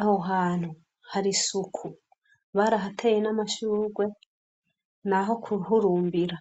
Aho hantu hari isuku barahateye n'amashurwe ni aho kuhurumbira.